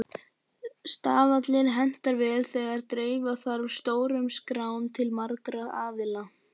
Staðallinn hentar vel þegar dreifa þarf stórum skrám til margra aðila.